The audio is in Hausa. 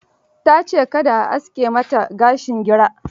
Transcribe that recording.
Ta ce ka da a aske mata gashin gira.